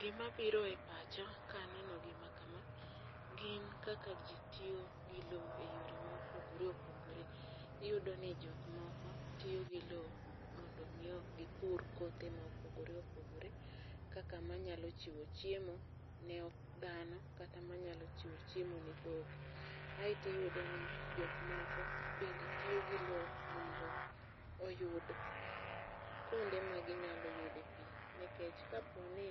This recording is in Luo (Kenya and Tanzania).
Gima biro e pacha kaneno gima kama gin kaka ji tiyo gi low e yore mopogore opogore. Iyudo ni jok moko tiyo gi low mondo mi gipur kothe mopogore opogore kaka manyalo chiwo chiemo ne dhano, kaka manyalo chiwo chiemo ne dhok. Aito iyudo ni jok moko bende tiyo gi low mondo oyud kuonde ma ginyalo yude pi. Nikech kapo ni